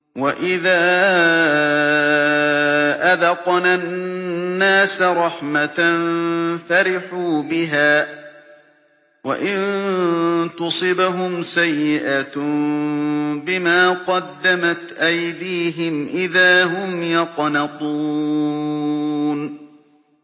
وَإِذَا أَذَقْنَا النَّاسَ رَحْمَةً فَرِحُوا بِهَا ۖ وَإِن تُصِبْهُمْ سَيِّئَةٌ بِمَا قَدَّمَتْ أَيْدِيهِمْ إِذَا هُمْ يَقْنَطُونَ